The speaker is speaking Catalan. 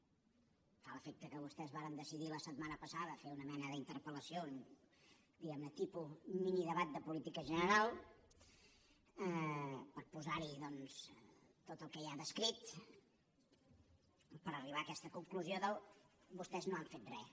em fa l’efecte que vostès varen decidir la setmana passada fer una mena d’interpel·lació diguem ne tipus minidebat de política general per posar hi doncs tot el que hi ha descrit per arribar a aquesta conclusió del vostès no han fet res